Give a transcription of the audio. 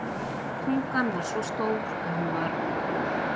Tungan var svo stór að hún bara flissaði, benti á dagblöðin en sagði ekki neitt.